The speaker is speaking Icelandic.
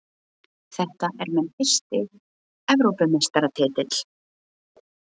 Þetta er minn fyrsti Evrópumeistaratitill.